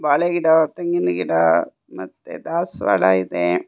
ಬಾಳೆ ಗಿಡ ತೆಂಗಿನ ಗಿಡ ಮತ್ತೆ ದಾಸವಾಳ ಇದೆ.